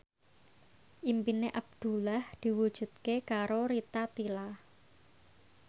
impine Abdullah diwujudke karo Rita Tila